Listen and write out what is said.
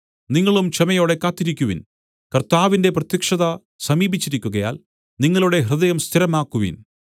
നിങ്ങളും ക്ഷമയോടെ കാത്തിരിക്കുവിൻ കർത്താവിന്റെ പ്രത്യക്ഷത സമീപിച്ചിരിക്കുകയാൽ നിങ്ങളുടെ ഹൃദയം സ്ഥിരമാക്കുവിൻ